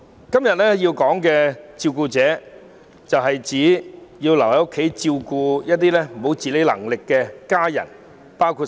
今天所說的照顧者，是指那些留在家中照顧缺乏自理能力家人的人士。